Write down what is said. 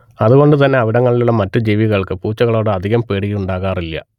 അതുകൊണ്ട് തന്നെ അവിടങ്ങളിലുള്ള മറ്റ് ജീവികൾക്ക് പൂച്ചകളോട് അധികം പേടിയുണ്ടാകാറില്ല